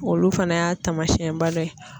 Olu fana y'a taamasiyɛnba dɔ ye.